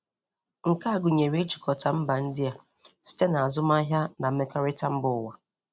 Nke a gụnyere ijikọta mba ndị a site n’azụmahịa na mmekọrịta mba ụwa.